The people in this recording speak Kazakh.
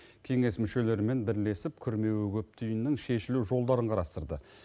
кеңес мүшелерімен бірлесіп күрмеуі көп түйіннің шешілу жолдарын қарастырды